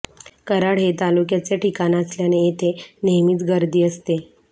कराड हे तालुक्याचे ठिकाण असल्याने येथे नेहमीच गर्दी असते